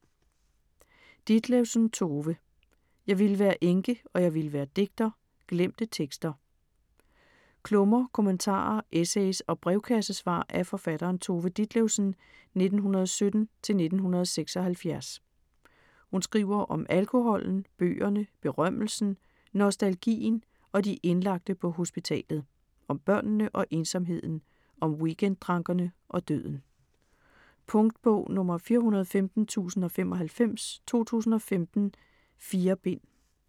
Ditlevsen, Tove: Jeg ville være enke, og jeg ville være digter: glemte tekster Klummer, kommentarer, essays og brevkassesvar af forfatteren Tove Ditlevsen (1917-1976). Hun skriver om alkoholen, bøgerne, berømmelsen, nostalgien og de indlagte på hospitalet. Om børnene og ensomheden, om weekend-drankerne og døden. Punktbog 415095 2015. 4 bind.